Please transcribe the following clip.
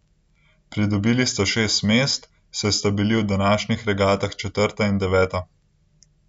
Pridobila sta šest mest, saj sta bila v današnjih regatah četrta in deveta.